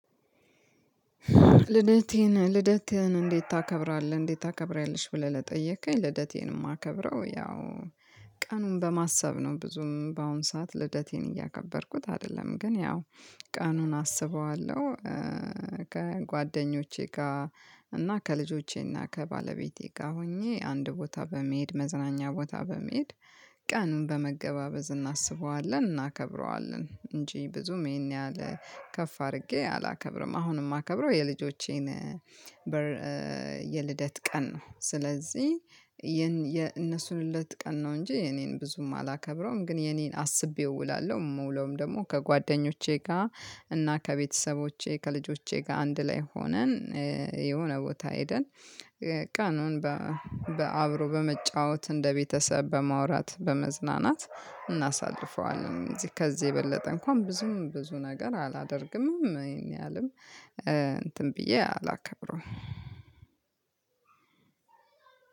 ልደቴን ልደቴህ እንዴት? ታከብራለህ እንዴት ታከብሪያለሽ? ብለህ ለጠየከኝ ልደቴን የማከብረው ያው ቀኑን በማሰብ ነው። ብዙም በአሁን ሰዓት ልደቴን እያከበርኩት አይደለም ግን ያው ቀኑን አስበዋለሁ። ከጓደኞቼ ጋር እና ከልጆቼ እና ከባለቤቴ ጋር ሆኜ አንድ ቦታ በመሄድ መዝናኛ ቦታ በመሄድ ቀኑን በመገባበዝ እናስበዋለን እናከብረዋለን እንጂ ብዙም ይሄን ያህል ከፍ አድርጌ አላከብርም። አሁንም የማከብረው የልጆቼን የልደት ቀን ነው። ስለዚህ የነሱን ልደት ቀን ነው እንጂ የኔን ብዙም አላከብረውም። ግን የኔን አስቤ እውላለሁ እምውለውም ደግሞ ከጓደኞቼ ጋር እና ከቤተሰቦቼ ከልጆቼ ጋር አንድ ላይ ሆነን የሆነ ቦታ ሄደን ቀኑን በአብሮ በመጫወት እንደ ቤተሰብ በማውራት በመዝናናት እናሳልፈዋለን። እዚህ ከዚህ የበለጠ እንኳን ብዙም ብዙ ነገር አላደርግምም ይህን ያህልም እንትን ብዬ አላከብረውም።